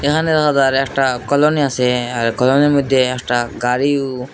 এখানে দেখা যার একটা কলোনি আসে আর কলোনি র মইধ্যে একটা গাড়িও।